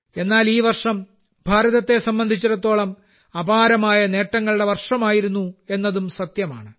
എന്നാൽ ഈ വർഷം ഭാരതത്തെ സംബന്ധിച്ചിടത്തോളം അപാരമായ നേട്ടങ്ങളുടെ വർഷമായിരുന്നു എന്നതും സത്യമാണ്